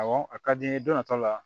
Awɔ a ka di n ye don na taw la